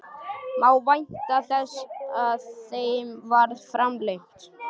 Má vænta þess að þeim verði framlengt?